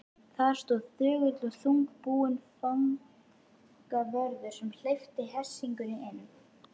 Þar stóð þögull og þungbúinn fangavörður sem hleypti hersingunni inn.